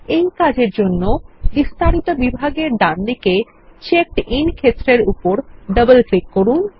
এই জন্য বিস্তারিত বিভাগেরডানদিকেCheckedIn ক্ষেত্রের উপরডবল ক্লিক করুন